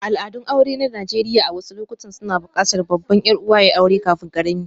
Al'adun aure na Najeriya a wasu lokuta suna buƙatar babban 'yar'uwa ya yi aure kafin ƙarami.